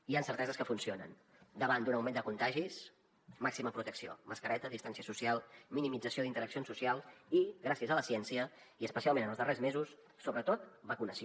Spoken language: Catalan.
hi han certeses que funcionen davant d’un augment de contagis màxima protecció mascareta distància social minimització d’interaccions socials i gràcies a la ciència i especialment en els darrers mesos sobretot vacunació